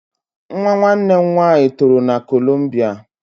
Nwa nwanne nna m toro na kolombia